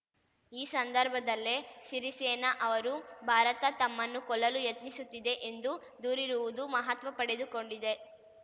ಈ ಸಂದರ್ಭದಲ್ಲೇ ಸಿರಿಸೇನ ಅವರು ಭಾರತ ತಮ್ಮನ್ನು ಕೊಲ್ಲಲು ಯತ್ನಿಸುತ್ತಿದೆ ಎಂದು ದೂರಿರುವುದು ಮಹತ್ವ ಪಡೆದುಕೊಂಡಿದೆ